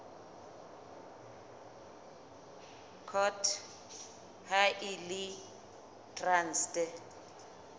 court ha e le traste